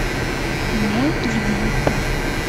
мой любимый брат